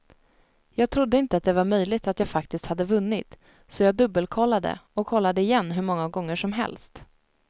Jag trodde inte att det var möjligt att jag faktiskt hade vunnit, så jag dubbelkollade och kollade igen hur många gånger som helst.